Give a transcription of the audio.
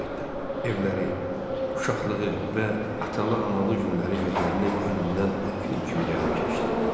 Evləri, uşaqlığı və atalı-analı günləri gözlərinin önündən film kimi gəlib keçdi.